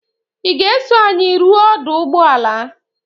Ị ga-eso anyị ruo ọdụ ụgbọala?